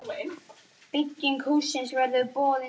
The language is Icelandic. Bygging hússins verður boðin út.